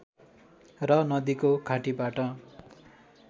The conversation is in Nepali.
र नदीको घाटीबाट